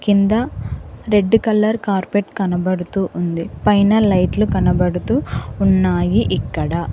కింద red colour carpet కనబడుతూ ఉంది పైన లైట్లు కనబడుతూ ఉన్నాయి ఇక్కడ.